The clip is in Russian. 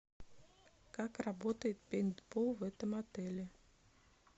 как работает пейнтбол в этом отеле